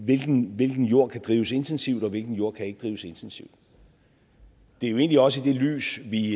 jord der kan drives intensivt og hvilken jord kan drives intensivt det er egentlig også i det lys at vi